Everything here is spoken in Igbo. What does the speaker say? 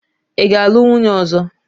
Ị ga-alụ nwunye ọzọ!